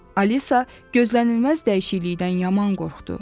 Alisa gözlənilməz dəyişiklikdən yaman qorxdu.